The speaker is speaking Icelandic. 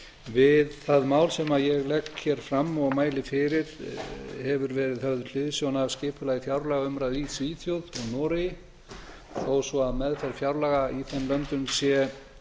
við það mál sem ég legg hér fram og mæli fyrir hefur verið höfð hliðsjón af skipulagi fjárlagaumræðu í svíþjóð og noregi þó svo að meðferð fjárlaga í þeim löndum sé